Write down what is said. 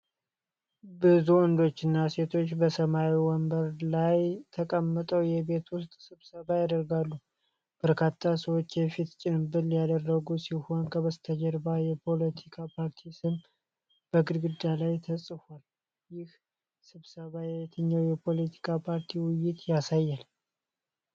ብዙ ወንዶችና ሴቶች በሰማያዊ ወንበሮች ላይ ተቀምጠው የቤት ውስጥ ስብሰባ ያደርጋሉ። በርካታ ሰዎች የፊት ጭንብል ያደረጉ ሲሆን፣ ከበስተጀርባው የፖለቲካ ፓርቲ ስም በግድግዳው ላይ ተጽፏል። ይህ ስብሰባ የየትኛውን የፖለቲካ ፓርቲ ውይይት ያሳያል?